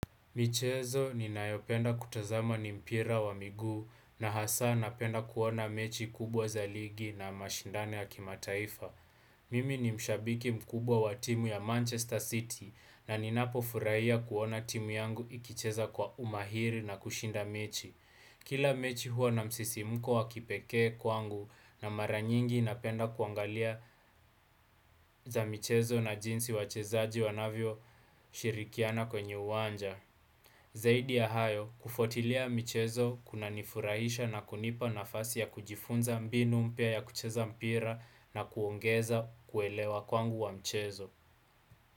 Michezo ninayopenda kutazama ni mpira wa miguu na hasaa napenda kuona mechi kubwa za ligi na mashindano ya kimataifa. Mimi ni mshabiki mkubwa wa timu ya Manchester City na ninapofurahia kuona timu yangu ikicheza kwa umahiri na kushinda mechi. Kila mechi huwa na msisimko wakipekee kwangu na mara nyingi napenda kuangalia za michezo na jinsi wachezaji wanavyoshirikiana kwenye uwanja. Zaidi ya hayo kufuatilia michezo kunanifurahisha na kunipa nafasi ya kujifunza mbinu mpya ya kucheza mpira na kuongeza kuelewa kwangu wa mchezo.